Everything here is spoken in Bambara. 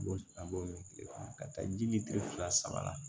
A b'o min kile kɔnɔ ka taa ji mi fila saba la